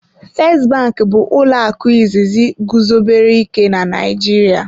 "First bank" bụ ụlọ akụ izizi guzobere ike na Naịjirịa.